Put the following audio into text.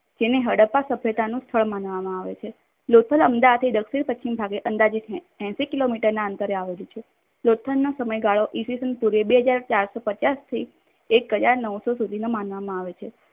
લોથલ જેને હડપ્પા સભ્યતાનું સ્થળ માનવામાં આવે છે. લોથલ અમદાવાદથી દક્ષિણ પશ્ચિમ ભાગે અંદાજે એશી કિલોમીટરમાં અંતરે આવેલું છે. લોથલનો સમયગાળો ઈ. સ. બે હાજર ચાર સો પચાશથી એક હજાર નવસો સુધીનો માનવામાં આવે છે.